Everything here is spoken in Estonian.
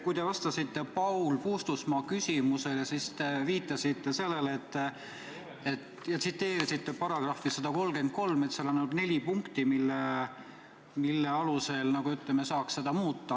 Kui te vastasite Paul Puustusmaa küsimusele, siis te viitasite sellele, et põhiseaduse §-s 133 on ainult neli punkti ja nende alusel ei saa neid seadusi muuta.